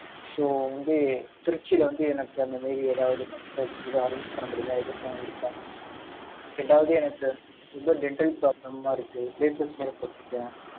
so, வந்து, திருச்சியில வந்து, எனக்கு, அந்த மாரி, ஏதாவது, doctors கூட arrange பண்ண முடியுமா? எதுக்கும் இருக்கா? ரெண்டாவது, எனக்கு, ரொம்ப dental problem ஆ, இருக்கு. braces வேற போட்டுருக்கேன்